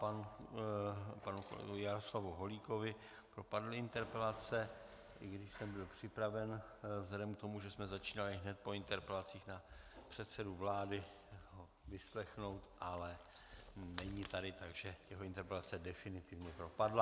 Panu kolegovi Jaroslavu Holíkovi propadly interpelace, i když jsem byl připraven vzhledem k tomu, že jsme začínali hned po interpelacích na předsedu vlády, ho vyslechnout, ale není tady, takže jeho interpelace definitivně propadly.